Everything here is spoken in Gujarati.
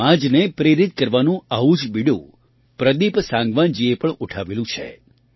સમાજને પ્રેરિત કરવાનું આવું જ બીડું પ્રદીપ સાંગવાનજીએ પણ ઉઠાવેલું છે